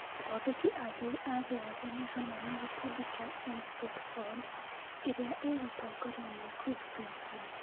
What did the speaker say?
Athondeki angĩ a thĩ yothe nĩ hamwe na gĩkundi kĩa M-Sport Ford ĩrĩa ĩgũtongorio nĩ Gus Greensmith ,